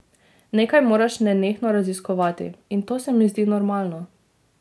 Nekaj moraš nenehno raziskovati in to se mi zdi normalno.